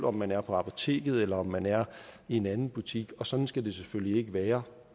om man er på apoteket eller om man er i en anden butik og sådan skal det selvfølgelig ikke være